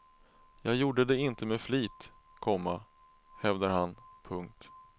Jag gjorde det inte med flit, komma hävdar han. punkt